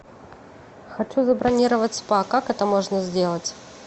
хочу забронировать спа как это можно сделать